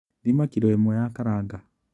Thima kiro ĩmwe ya karanga.